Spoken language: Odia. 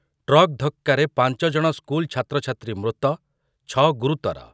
ଟ୍ରକ୍ ଧକ୍କାରେ ପାଞ୍ଚ ଜଣ ସ୍କୁଲ୍‌ ଛାତ୍ରଛାତ୍ରୀ ମୃତ, ଛ ଗୁରୁତର ।